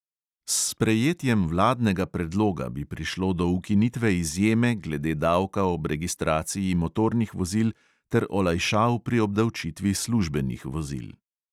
S sprejetjem vladnega predloga bi prišlo do ukinitve izjeme glede davka ob registraciji motornih vozil ter olajšav pri obdavčitvi službenih vozil.